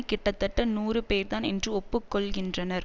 கிட்டத்தட்ட நூறு பேர்தான் என்று ஒப்பு கொள்ளுகின்றனர்